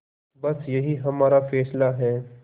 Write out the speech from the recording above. बस यही हमारा फैसला है